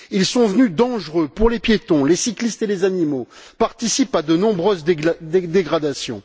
Ils sont devenus dangereux pour les piétons, les cyclistes et les animaux, et participent à de nombreuses dégradations.